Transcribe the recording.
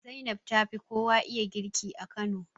Zainab tafi kowa iya girki a Kano